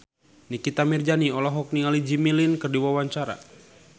Nikita Mirzani olohok ningali Jimmy Lin keur diwawancara